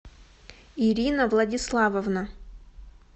ирина владиславовна